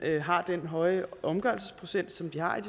har den høje omgørelsesprocent som den har i